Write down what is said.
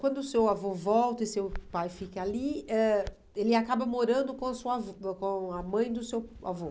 Quando o seu avô volta e seu pai fica ali, ãh ele acaba morando com a sua avó com com a mãe do seu avô.